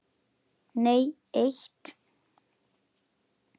Nei eitt.